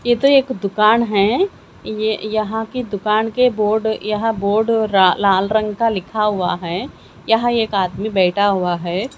ये तो एक दुकान है ये यहां की दुकान के बोर्ड यहां बोर्ड -- लाल रंग का लिखा हुआ है यहां एक आदमी बैठा हुआ है।